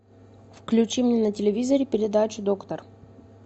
включи мне на телевизоре передачу доктор